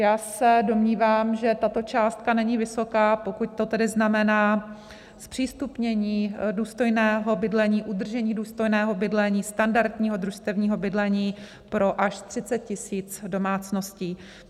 Já se domnívám, že tato částka není vysoká, pokud to tedy znamená zpřístupnění důstojného bydlení, udržení důstojného bydlení, standardního družstevního bydlení pro až 30 000 domácností.